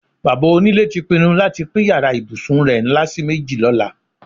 Bàbá onílé ti pinnu láti pín yàrá ìbùsùn rè̩ ńlá sí méjì ló̩la.